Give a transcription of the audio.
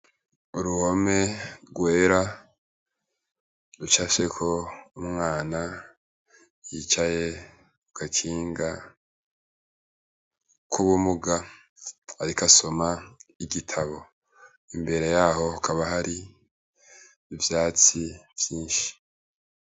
Uruhome rwera ruca sheko umwana yicaye ugakinga k'ubumuga, ariko asoma igitabo imbere yaho kaba hoari ivyatsi vyinshi.